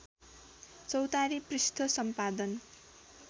चौतारी पृष्ठ सम्पादन